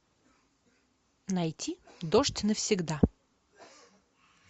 найти дождь навсегда